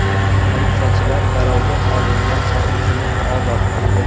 Politsiyachilar garovga olingan sotuvchini ozod qildi.